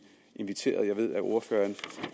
inviteret til jeg ved at ordføreren